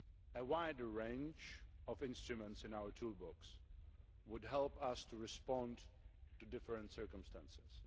A wider range of instruments in our toolbox would help us to respond to different circumstances.